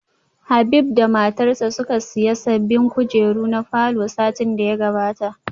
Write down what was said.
Habib da matarsa ​​suka siya sabbin kujeru na falor satin da ya gabata